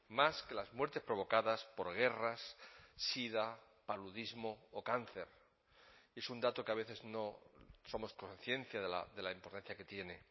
más que las muertes provocadas por guerras sida paludismo o cáncer es un dato que a veces no somos conciencia de la importancia que tiene